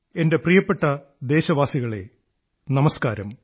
എന്റെ പ്രിയപ്പെട്ട ദേശവാസികളേ നമസ്കാരം